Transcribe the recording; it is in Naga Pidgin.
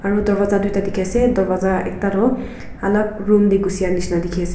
aro darwaza duita dikhi ase darwaza ekta toh alak room te gucia nisina dikhi ase.